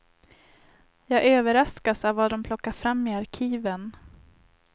Jag överraskas av vad de plockar fram i arkiven.